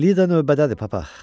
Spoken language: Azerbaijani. Lida növbədədir, papa.